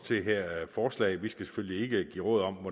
det her forslag vi skal selvfølgelig ikke give råd om